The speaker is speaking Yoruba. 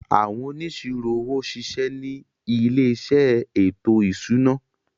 Àwọn Onísirò owó ṣiṣẹ́ ni ilé iṣẹ́ ètò ìṣúná.